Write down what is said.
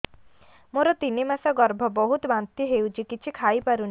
ମୋର ତିନି ମାସ ଗର୍ଭ ବହୁତ ବାନ୍ତି ହେଉଛି କିଛି ଖାଇ ପାରୁନି